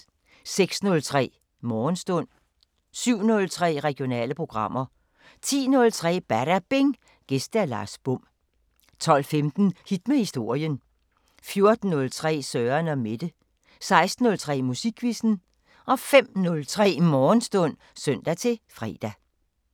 06:03: Morgenstund 07:03: Regionale programmer 10:03: Badabing: Gæst Lars Bom 12:15: Hit med historien 14:03: Søren & Mette 16:03: Musikquizzen 05:03: Morgenstund (søn-fre)